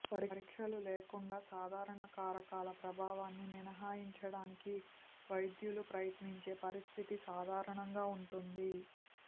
పరీక్షలు లేకుండా సాధారణ కారకాల ప్రభావాన్ని మినహాయించటానికి వైద్యులు ప్రయత్నించే పరిస్థితి సాధారణంగా ఉంటుంది